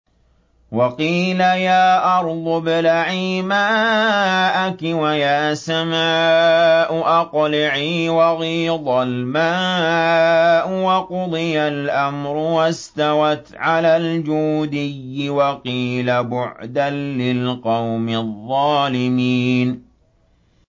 وَقِيلَ يَا أَرْضُ ابْلَعِي مَاءَكِ وَيَا سَمَاءُ أَقْلِعِي وَغِيضَ الْمَاءُ وَقُضِيَ الْأَمْرُ وَاسْتَوَتْ عَلَى الْجُودِيِّ ۖ وَقِيلَ بُعْدًا لِّلْقَوْمِ الظَّالِمِينَ